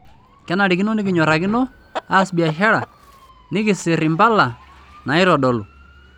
Kenarikino nikinyorakino aas biashara nikisirr impala naitodolu.